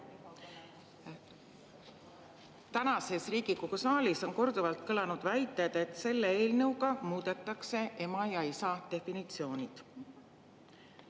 Täna on Riigikogu saalis korduvalt kõlanud väited, et selle eelnõuga muudetakse ema ja isa definitsiooni.